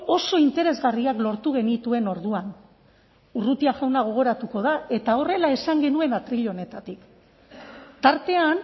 oso interesgarriak lortu genituen orduan urrutia jauna gogoratuko da eta horrela esan genuen atril honetatik tartean